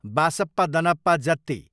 बासप्पा दनप्पा जत्ति